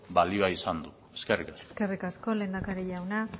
balioa izan du eskerrik asko eskerrik asko lehendakari jauna